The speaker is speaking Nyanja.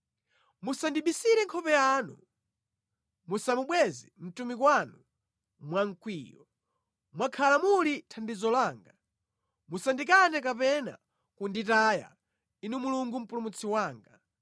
Musandibisire nkhope yanu, musamubweze mtumiki wanu mwamkwiyo; mwakhala muli thandizo langa. Musandikane kapena kunditaya, Inu Mulungu Mpulumutsi wanga.